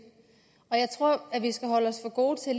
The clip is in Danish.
jeg tror at vi skal holde os for gode til at